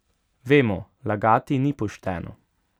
Vemo, lagati ni pošteno.